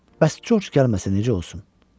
Bəs Corc gəlməsə necə olsun?